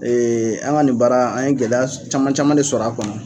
an ka nin baara an ye gɛlɛya caman caman de sɔrɔ a kɔnɔ.